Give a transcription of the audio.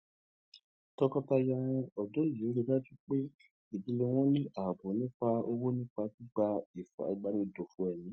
tọkọtaya òdó yìí rí i dájú pé ìdílé àwọn ní ààbò nípa owó nípa gbígba ìwé ìbánigbófò èmí